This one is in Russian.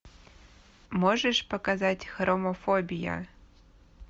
можешь показать хромофобия